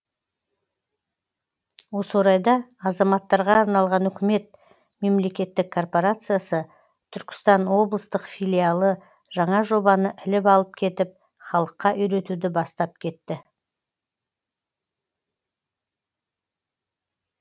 осы орайда азаматтарға арналған үкімет мемлекеттік корпорациясы түркістан облыстық филиалы жаңа жобаны іліп алып кетіп халыққа үйретуді бастап кетті